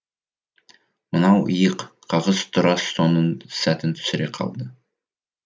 мынау иық қағыс тура соның сәтін түсіре қалды